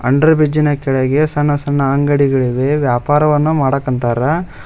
Under ಬ್ರಿಜ್ಜಿನ ಕೆಳಗೆ ಸಣ್ಣ ಸಣ್ಣ ಅಂಗಡಿಗಳಿವೆ ವ್ಯಾಪಾರವನ್ನ ಮಾಡಾಕಂತಾರ.